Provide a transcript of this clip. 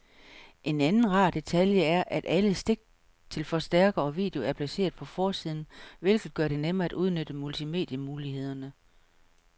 En anden rar detalje er, at alle stik til forstærker og video er placeret på forsiden, hvilket gør det nemmere at udnytte multimedie-mulighederne.